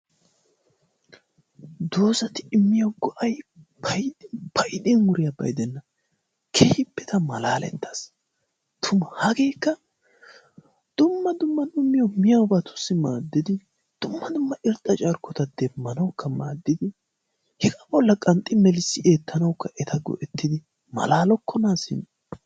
Doozati immiyo go''ay payddin wuriyaaba gidenna keehippe malaletaas. Tuma dumma dumma miyoobatussi maaddidi, dumma dumma irxxa carkkota demmanawukka maaddidi, hegaa bolla qanxxi melissi eettanawukka eta go''ettidi malaalokkona simma!